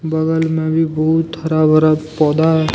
बगल में भी बहुत हरा भरा पौधा है।